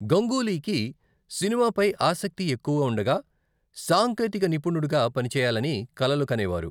గంగూలీకి సినిమాపై ఆసక్తి ఎక్కువ ఉండగా, సాంకేతిక నిపుణుడిగా పని చేయాలని కలలు కనేవారు.